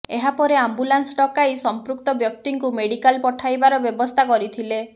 ଏହାପରେ ଆମ୍ବୁଲାନ୍ସ ଡକାଇ ସଂପୃକ୍ତ ବ୍ୟକ୍ତିଙ୍କୁ ମେଡିକାଲ ପଠାଇବାର ବ୍ୟବସ୍ଥା କରିଥିଲେ